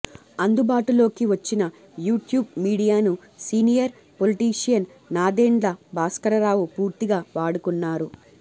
అందుబాటులోకి వచ్చిన యూట్యూబ్ మీడియాను సీనియర్ పొలిటీషియన్ నాదెండ్ల భాస్కరరావు పూర్తిగా వాడుకున్నారు